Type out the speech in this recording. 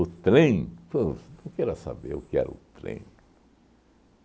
trem? Pô, não queira saber o que era o trem.